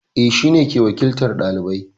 Eh, shine ke wakiltar ɗalibai